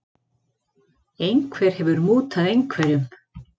Einhver hefur mútað einhverjum.